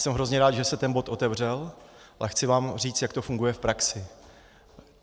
Jsem hrozně rád, že se ten bod otevřel, a chci vám říct, jak to funguje v praxi.